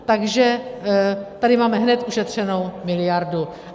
Takže tady máme hned ušetřenou miliardu.